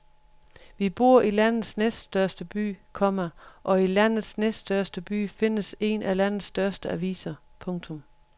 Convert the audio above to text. Vi bor i landets næststørste by, komma og i landets næststørste by findes en af landets største aviser. punktum